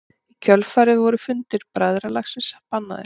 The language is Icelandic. Í kjölfarið voru fundir bræðralagsins bannaðir.